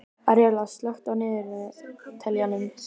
Aríela, slökktu á niðurteljaranum.